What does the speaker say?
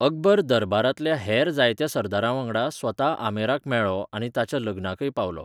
अकबर दरबारांतल्या हेर जायत्या सरदारांवांगडा स्वता आमेराक मेळ्ळो आनी ताच्या लग्नाकय पावलो.